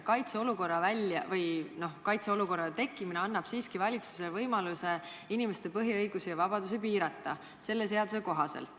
Aga kaitseolukorra tekkimine annab siiski valitsusele selle eelnõu kohaselt võimaluse inimeste põhiõigusi ja -vabadusi piirata.